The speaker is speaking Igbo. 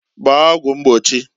Gbaa ọgwụ mgbochiǃ